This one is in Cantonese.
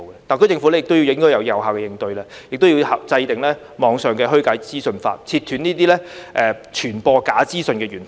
特區政府亦應該有效應對，制訂網上虛假資訊法，切斷傳播假資訊的源頭。